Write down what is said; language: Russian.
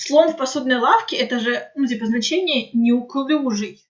слон в посудной лавке это же типо ну значение неуклюжий